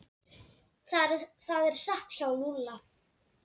Það er satt hjá Lúlla.